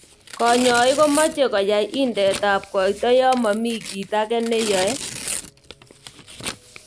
Kanyoik komeche kwai indeet ab koito ya mami ki age nekeyoi.